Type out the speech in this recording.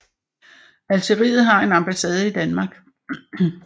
Algeriet har en ambassade i Danmark